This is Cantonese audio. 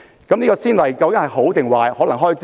這個先例究竟是好是壞呢？